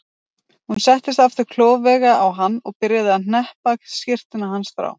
Hún settist aftur klofvega á hann og byrjaði að hneppa skyrtunni hans frá.